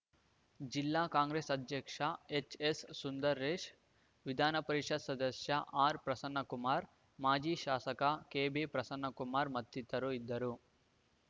ಜಿಲ್ಲಾ ಕಾಂಗ್ರೆಸ್‌ ಅಧ್ಯಕ್ಷ H S Sundaresh ವಿಧಾನಪರಿಷತ್‌ ಸದಸ್ಯ ಆರ್‌ ಪ್ರಸನ್ನಕುಮಾರ್‌ ಮಾಜಿ ಶಾಸಕ ಕೆ ಬಿ ಪ್ರಸನ್ನಕುಮಾರ್‌ ಮತ್ತಿತರರು ಇದ್ದರು